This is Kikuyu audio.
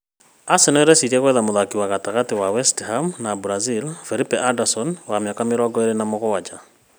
Arsenal ĩreciria gwetha mũthaki wa gatagatĩ wa West Ham, MBrazil Felipe, mĩaka mĩrongō ĩĩrĩ na mũgwanja Anderson